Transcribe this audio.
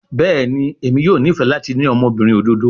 Bẹẹni, Emi yoo nifẹ lati ni ọmọbirin ododo